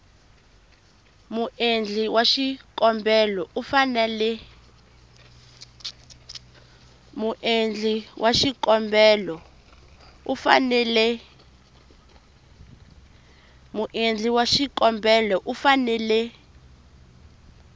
muendli wa xikombelo u fanele